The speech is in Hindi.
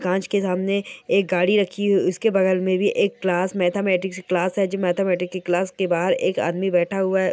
कांच के सामने एक गाड़ी रखी हुई है उसके बगल में सामने एक क्लास है मैथमेटिक्स की क्लास है मैथमेटिक्स की क्लास के बाहर एक आदमी बैठा हुआ है।